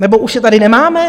Nebo už je tady nemáme?